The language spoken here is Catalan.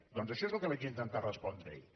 doncs això és el que vaig intentar respondre ahir